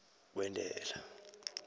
kwentela